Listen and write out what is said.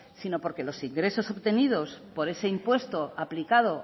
sino porque los ingresos obtenidos por ese impuesto aplicado